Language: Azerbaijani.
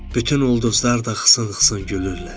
Bütün ulduzlar da xısın-xısın gülürlər.